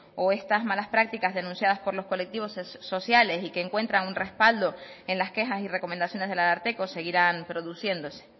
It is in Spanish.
o estas malas prácticas denunciadas por los colectivos sociales y que encuentran un respaldo en las quejas y recomendaciones del ararteko seguirán produciéndose